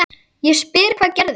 Ég spyr hvað gerðist?